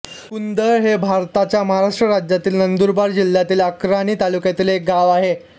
कुंदळ हे भारताच्या महाराष्ट्र राज्यातील नंदुरबार जिल्ह्यातील अक्राणी तालुक्यातील एक गाव आहे